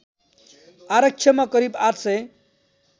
आरक्षमा करिब ८ सय